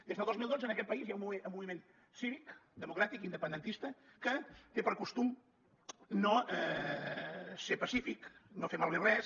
des del dos mil dotze en aquest país hi ha un moviment cívic democràtic independentista que té per costum ser pacífic no fer malbé res